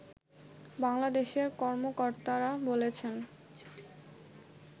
বাংলাদেশের কর্মকর্তরা বলেছেন